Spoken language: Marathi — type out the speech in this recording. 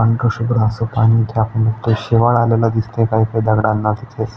अंकशुभ्र अस पाणी इथ आपण बघतोय शेवाळ आलेल दिसतंय काय काय दगडांना तिथेच.